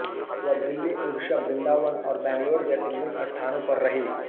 वह दिल्ली उड़ीसा वृंदावन और बंगलौर जैसे विभिन्न स्थानों पर रही